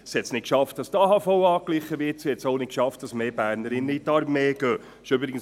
Es hat es nicht geschafft, dass die AHV angeglichen wird und mehr Bernerinnen in die Armee eintreten.